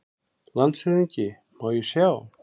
LANDSHÖFÐINGI: Má ég sjá?